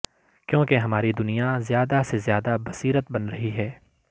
کیونکہ ہماری دنیا زیادہ سے زیادہ بصیرت بن رہی ہے